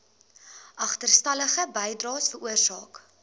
agterstallige bydraes veroorsaak